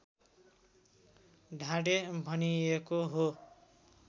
ढाडे भनिएको हो